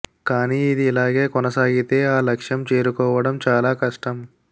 కాని ఇది ఇలాగే కొనసాగితే ఆ లక్షం చేరుకోవడం చాలా కష్టం